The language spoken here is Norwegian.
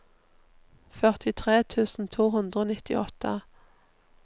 førtitre tusen to hundre og nittiåtte